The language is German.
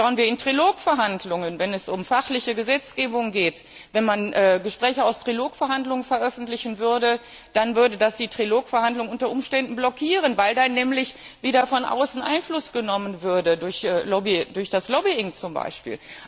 Oder schauen wir in Trilog Verhandlungen, wenn es um fachliche Gesetzgebung geht Wenn man Gespräche aus Trilog Verhandlungen veröffentlichen würde, dann würde das die Trilog Verhandlungen unter Umständen blockieren, weil dann nämlich wieder von außen Einfluss genommen würde, durch das Lobbying zum Beispiel.